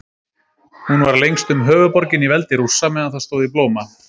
Hún var lengstum höfuðborgin í veldi Rússa meðan það stóð í blóma.